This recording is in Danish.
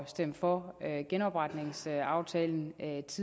stemme for genopretningsaftalen